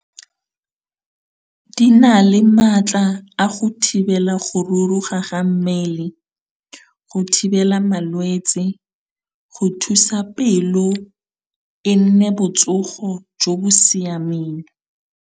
Di na le maatla a go thibela go ruruga ga mmele, go thibela malwetse, go thusa pelo e nne botsogo jo bo siameng.